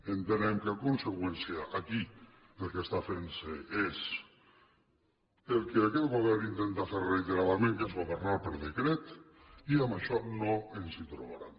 entenem que en conseqüència aquí el que està fent se és el que aquest govern intenta fer reiteradament que és governar per decret i amb això no ens hi trobaran